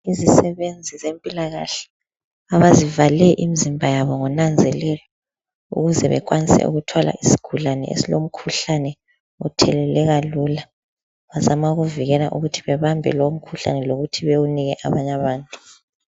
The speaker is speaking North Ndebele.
Izisebenzi zempilakahle abazivale imizimba yabo ngonanzelelo ukuze bekwanise ukuthwala isigulane esilomkhuhlane otheleleka lulo bazama ukuvikela ukuthi bebambe lomkhuhlane lokuthi bewunike abanye abantu.